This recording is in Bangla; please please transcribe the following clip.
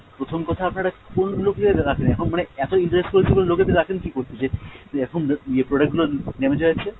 প্রথম কথা আপনারা কোন লোকেদের রাখেন এখন মানে এত irresponsible লোকেদের রাখেন কী করতে যে, এখন ইয়ে product গুলো damage হয়ে যাচ্ছে।